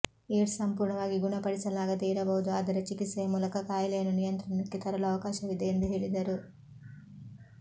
AIDS ಸಂಪೂರ್ಣವಾಗಿ ಗುಣಪಡಿಸಲಾಗದೇ ಇರಬಹುದು ಆದರೆ ಚಿಕಿತ್ಸೆಯ ಮೂಲಕ ಕಾಯಿಲೆಯನ್ನು ನಿಯಂತ್ರಣಕ್ಕೆ ತರಲು ಅವಕಾಶವಿದೆ ಎಂದು ಹೇಳಿದರು